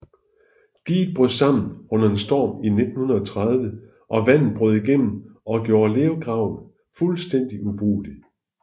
Diget brød sammen under en storm i 1930og vandet brød igennem og gjorde lergraven fuldstændig ubrugelig